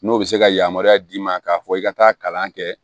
N'o bɛ se ka yamaruya d'i ma k'a fɔ i ka taa kalan kɛ